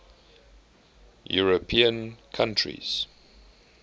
european countries